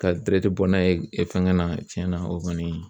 Ka bɔ n'a ye fɛngɛn na tiɲɛn na o kɔni